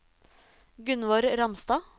Gunvor Ramstad